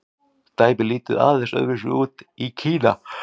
dæmið lítur aðeins öðru vísi út í kína